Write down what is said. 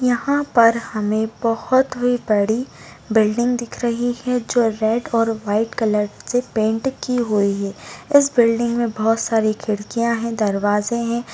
यहाँ पर हमें बहुत ही बड़ी बिल्डिंग दिख रही है जो रेड और वाइट कलर से पेंट की हुई है इस बिल्डिंग में बहुत सारी खिड़किया है दरवाजे है।